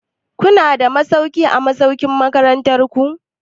Kuna da masauki a masaukin makarantu?